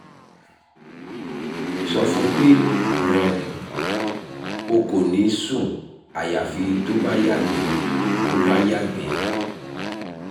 sọ fún un pé um o kò ní sùn àyàfi tó o bá yàgbẹ́ o bá yàgbẹ́